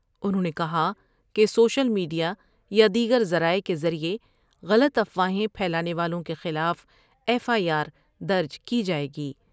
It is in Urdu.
انہوں نے کہا کہ سوشل میڈ یا یا دیگر ذرائع کے ذریعہ غلط افواہیں پھیلانے والوں کے خلاف ایف آئی آر درج کی جائے گی ۔